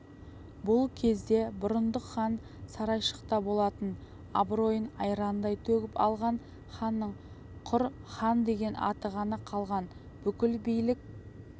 бұл кезде бұрындық хан сарайшықта болатын абыройын айрандай төгіп алған ханның құр хандеген аты ғана қалған бүкіл билік